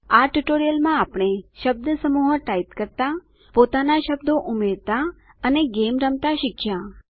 આ ટ્યુટોરીયલ માં આપણે શબ્દસમૂહો ટાઇપ કરતા પોતાના શબ્દો ઉમેરતા અને ગેમ રમતા શીખ્યા